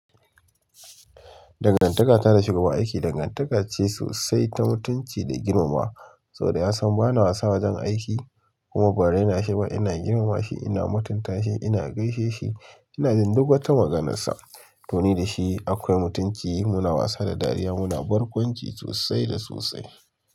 Dangantaka da shugaban aiki, dangantaka ce sosai ta mutunci da girmamawa. Saboda yasan bana wajen aiki kuma ban raina shi ba ina girmama shi ina mutunta shi, ina gaishe shi, ina bin duk wata maganarsa. Toni da shi akwai mutunci, muna wasa da dariya, muna barkwanci sosai da sosai.